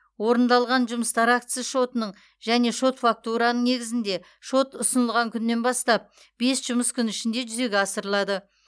орындалған жұмыстар актісі шотының және шот фактураның негізінде шот ұсынылған күннен бастап бес жұмыс күні ішінде жүзеге асырылады